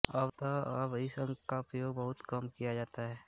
अत अब इस अंक का उपयोग बहुत कम किया जाता है